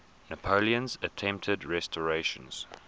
napoleon's attempted restoration